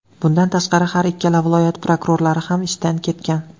Bundan tashqari, har ikkala viloyat prokurorlari ham ishdan ketgan.